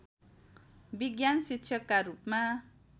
विज्ञान शिक्षकका रूपमा